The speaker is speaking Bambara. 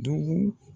Dugu